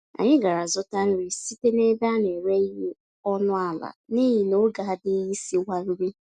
Anyị gàrà zụta nri site n'ebe a nere ìhè ọnụ àlà, n'ihi n'oge adịghị isiwa nri